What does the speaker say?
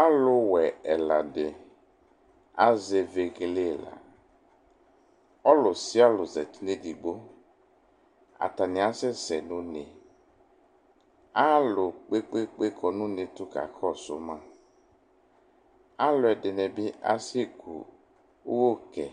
Alʋwɛ ɛla dɩ azɛ vegele ɛla Ɔlʋ sɩa ɔlʋ zati nʋ edigbo Atanɩ asɛsɛ nʋ une Alʋ kpe-kpe-kpe kɔ nʋ une tʋ kakɔsʋ ma Alʋɛdɩnɩ bɩ asɛku ʋgɛ